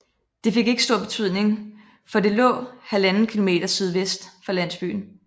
Det fik ikke stor betydning for det lå 1½ km sydvest for landsbyen